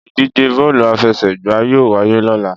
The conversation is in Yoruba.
Ìdíje bọ́ọ̀lù àfẹsẹ̀gbá yóò wáyé lóla